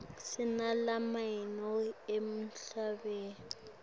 sinalamaye emahlaya